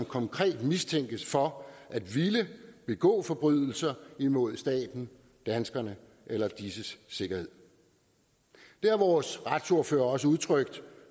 konkret mistænkes for at ville begå forbrydelser imod staten danskerne eller disses sikkerhed det har vores retsordfører også udtrykt